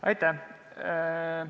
Aitäh!